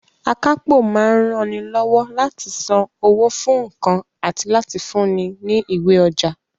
Akápò máa ń ranilọ́wọ́ láti san owó fún nǹkan àti láti fúnni ní ìwé ọjà